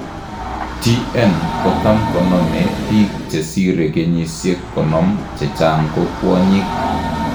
TN kotam konome biik chesire kenyisiek konom chechang' ko kwonyik